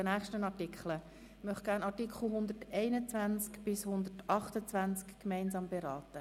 Ich möchte die Artikel 121–128 gemeinsam beraten.